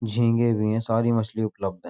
झिन्गें भी हैं। सारी मछली उपलब्ध है।